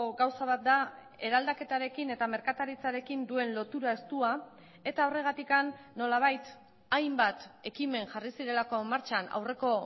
gauza bat da eraldaketarekin eta merkataritzarekin duen lotura estua eta horregatik nolabait hainbat ekimen jarri zirelako martxan aurreko